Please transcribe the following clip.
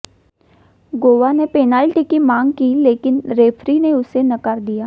गोवा ने पेनाल्टी का मांग की लेकिन रेफरी ने उसे नकार दिया